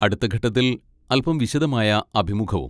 അടുത്ത ഘട്ടത്തിൽ അൽപ്പം വിശദമായ അഭിമുഖവും.